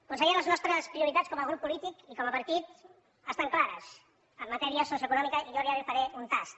conseller les nostres prioritats com a grup polític i com a partit estan clares en matèria socioeconòmica jo ara li’n faré un tast